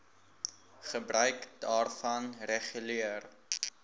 gebruik daarvan reguleer